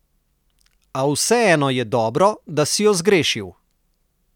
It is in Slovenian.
A vseeno je dobro, da si jo zgrešil.